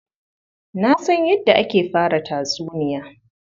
Na san yadda ake fara tatsuniya.